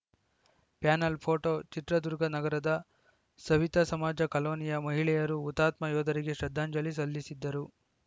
panel photo Chitradurga ನಗರದ ಸವಿತಾಸಮಾಜ ಕಾಲೋನಿಯ ಮಹಿಖಳೆಯರು ಹುತಾತ್ಮ ಯೋಧರಿಗೆ ಶ್ರದ್ಧಾಂಜಲಿ ಸಲ್ಲಿಸಿದರು